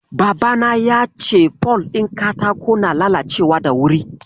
Babana ya ce fol ɗin katako na lalacewa da wuri.